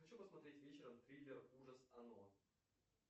хочу посмотреть вечером триллер ужас оно